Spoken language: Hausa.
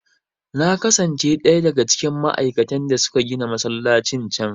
Na kasance ɗaya daga cikin ma'aikatan da suka gina masallacin can.